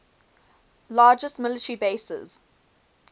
largest military bases